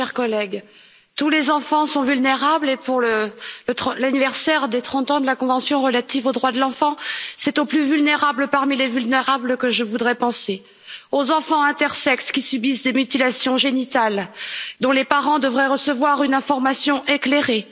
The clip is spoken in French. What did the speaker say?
Madame la Présidente, chers collègues, tous les enfants sont vulnérables et pour l'anniversaire des trente ans de la convention relative aux droits de l'enfant, c'est aux plus vulnérables parmi les vulnérables que je voudrais penser aux enfants intersexes qui subissent des mutilations génitales, dont les parents devraient recevoir une information éclairée